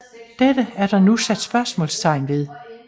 Dette er der nu sat spørgsmålstegn til